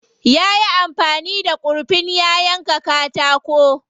Yayi amfani da kurfin ya yanka katako.